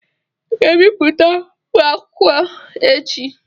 Ị ga-ebipụtakwu akwụkwọ echi.